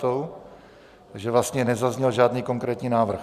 Takže vlastně nezazněl žádný konkrétní návrh.